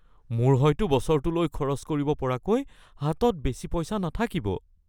মোৰ হয়তো বছৰটোলৈ খৰচ কৰিব পৰাকৈ হাতত বেছি পইচা নাথাকিব৷